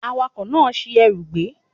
Awakọ̀ náà ṣi ẹrù gbé